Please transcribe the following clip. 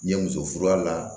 N ye muso furu a la